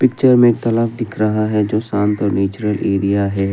Picture में एक तालाब दिख रहा है जो शांत और नेचुरल एरिया है।